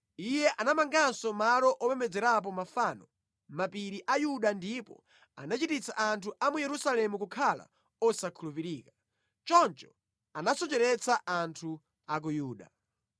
Iye anamanganso malo opembedzerapo mafano mʼmapiri a Yuda ndipo anachititsa anthu a mu Yerusalemu kukhala osakhulupirika. Choncho anasocheretsa anthu a ku Yuda.